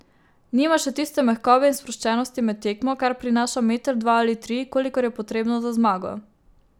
Nima še tiste mehkobe in sproščenosti med tekmo, kar prinaša meter, dva ali tri, kolikor je potrebno za zmago.